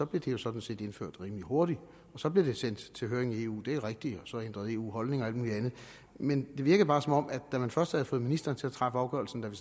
blev det jo sådan set indført rimelig hurtigt og så blev det sendt til høring i eu det er rigtigt og så ændrede eu holdning og alt muligt andet men det virkede bare som om da man først havde fået ministeren til at træffe afgørelsen da vi